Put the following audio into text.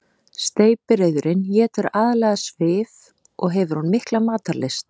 Steypireyðurin étur aðallega svif og hefur hún mikla matarlyst.